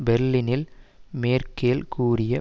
பெர்லினில் மேர்க்கெல் கூறி